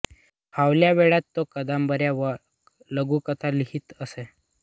फावल्या वेळात तो कादंबऱ्या व लघुकथा लिहीत असे